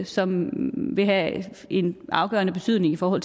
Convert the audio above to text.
som vil have en afgørende betydning for